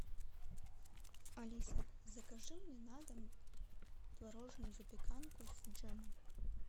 алиса закажи мне на дом творожную запеканку с джемом